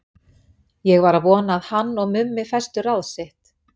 Ég var að vona að hann og Mummi festu ráð sitt.